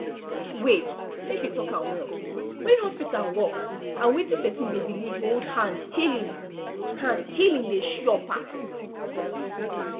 wait make we talk am well when hospital work and wetin person dey believe hold hand healing hand healing dey sure pass